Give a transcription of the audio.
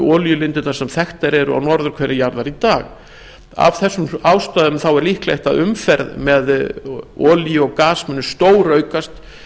olíulindirnar sem þekktar eru á norðurhveli jarðar í dag af þeim ástæðum er líklegt að umferð með olíu og gas muni stóraukast